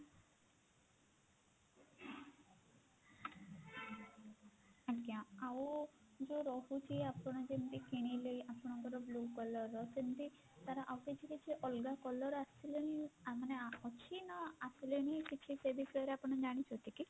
ଆଜ୍ଞା ଆଉ ଯଉ ରହୁଛି ଆପଣ ଯେମତି କିଣିଲେ ଆପଣଙ୍କର blue colour ର ସେମତି ତାର ଆଉ କିଛି କିଛି ଅଲଗା colour ଆସିଲାଣି ମାନେ ଅଛି ନା ଆସିଲାଣି କିଛି ସେ ବିଷୟରେ ଆପଣ ଜାଣିଛନ୍ତି କି?